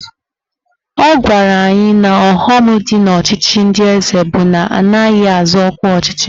Ọ gwara anyị na ọghọm dị n'ọchịchị ndị eze bụ na anaghị azọ ọkwa ọchịchị